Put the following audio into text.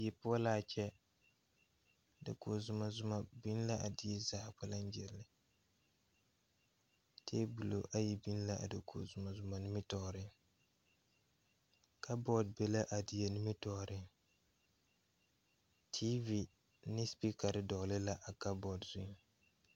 Die poɔ laa kyɛ dakoge zumɔzumɔ biŋ la a die zaa kpɛlɛŋ gyire tabolɔ ayi biŋ la a dakoge zumɔzumɔ nimitooreŋ kabɔɔte be la a die nimitooreŋ teevi ne sepeekarre dɔɔle la a kabɔɔterre zu.